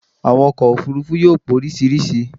Àwọn ọkọ̀ òfurufú yóò póríṣiríṣi